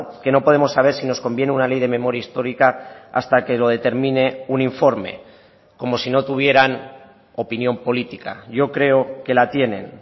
que no podemos saber si nos conviene una ley de memoria histórica hasta que lo determine un informe como si no tuvieran opinión política yo creo que la tienen